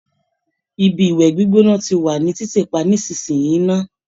Ibi ìwẹ̀ gbígbóná ti wà ní títì pa nísinsìnyí ná